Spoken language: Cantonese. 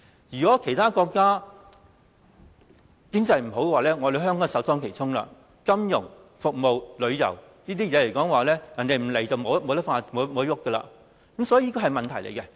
如果其他國家經濟不景，香港便會首當其衝，金融、服務和旅遊行業均依賴其他地方的人前來，否則便無法發展，這是一個問題。